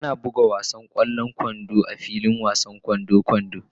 Ana buga wasan ƙwallon kwando a filin wasan ƙwallon kwando.